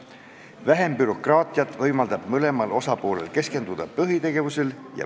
Vähem bürokraatiat võimaldab mõlemal osapoolel keskenduda põhitegevusele.